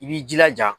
I b'i jilaja